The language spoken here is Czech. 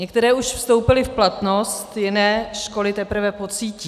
Některé už vstoupily v platnost, jiné školy teprve pocítí.